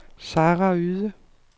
Sara Yde